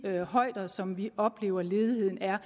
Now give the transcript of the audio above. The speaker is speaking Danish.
højder som vi oplever at ledigheden er